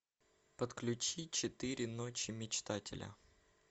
подключи четыре ночи мечтателя